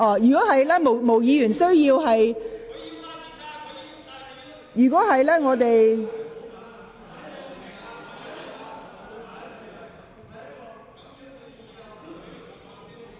如果毛孟靜議員需要......